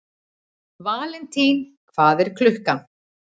Valentín, hvað er klukkan?